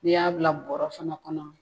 N'i y'a bila bɔrɔ fana kɔnɔ